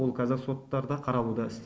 ол қазір соттарда қаралуда